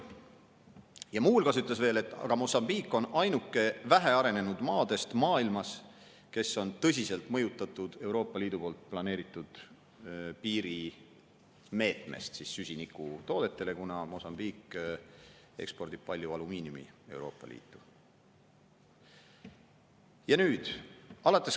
Ja muu hulgas ütles veel, et Mosambiik on ainuke vähe arenenud maadest maailmas, kes on tõsiselt mõjutatud Euroopa Liidu poolt planeeritud süsinikutoodete piiri meetmest, kuna Mosambiik ekspordib palju alumiiniumi Euroopa Liitu.